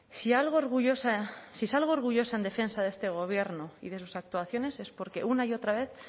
si algo orgullosa si salgo orgullosa en defensa de este gobierno y de sus actuaciones es porque una y otra vez